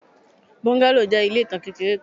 Bungalow jẹ ile itan kekere kan